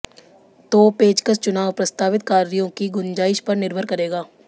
तो पेंचकस चुनाव प्रस्तावित कार्यों की गुंजाइश पर निर्भर करेगा